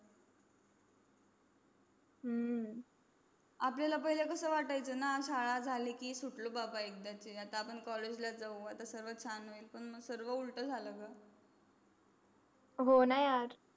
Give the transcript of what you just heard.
हु आपल्याला पाहिलं कस वाटायचं न शाळा झाली कि सुटलो बापा एक आपण आता college जाऊ सर्व चान होईल पण सर्व उलट झाल ग हो ना यार.